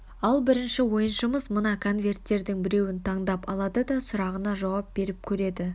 ал бірінші ойыншымыз мына конверттердің біреуін таңдап алады да сұрағына жауап беріп көреді